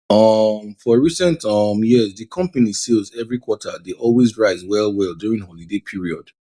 um for recent um years di company sales every quarter dey always rise well well during holiday period